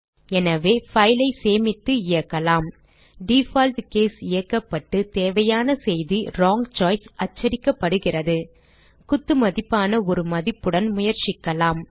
எனவே file ஐ சேமித்து இயக்கலாம் டிஃபால்ட் கேஸ் இயக்கப்பட்டு தேவையான செய்தி வுரோங் சோய்ஸ் அச்சடிக்கப்படுகிறது குத்துமதிப்பான ஒரு மதிப்புடன் முயற்சிக்கலாம்